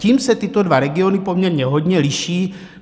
Tím se tyto dva regiony poměrně hodně liší.